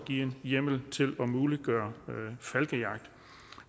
give hjemmel til at muliggøre falkejagt